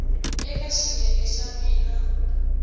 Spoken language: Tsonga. eka xiyenge xa b na